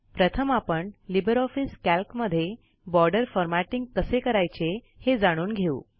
प्रथम आपण LibreOffice कॅल्कमधे बॉर्डर फॉरमॅटिग कसे करायचे हे जाणून घेऊ